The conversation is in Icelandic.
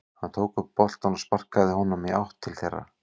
Hann tók upp boltann og sparkaði honum í átt til þeirra.